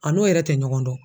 A n'o yɛrɛ tɛ ɲɔgɔn dɔn